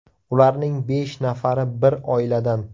Ularning besh nafari bir oiladan.